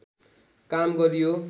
काम गरियो